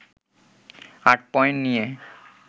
৮ point নিয়ে